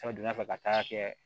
donna fɛ ka taa kɛ